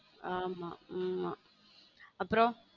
ஆமா ஆமா அப்புறம்.